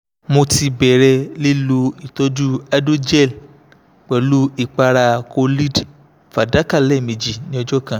mo ti bẹrẹ lilo itọju hydrogel pẹlu ipara collid fadaka lẹmeji ni ọjọ kan